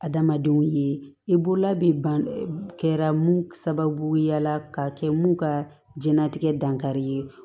Adamadenw ye i bolola bɛ ban kɛra mun sababuya la ka kɛ mun ka jɛnlatigɛ dankari ye